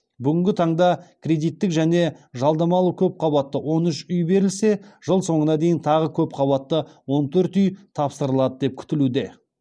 бүгінгі таңда кредиттік және жалдамалы көпқабатты он үш үй берілсе жыл соңына дейін тағы көпқабатты он төрт үй тапсырылады деп күтілуде